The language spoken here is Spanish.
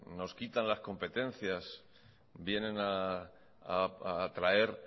nos quitan las competencias vienen a traer